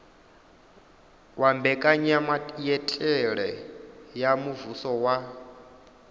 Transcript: wa mbekanyamaitele ya muvhuso wa